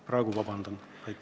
Praegu palun vabandust.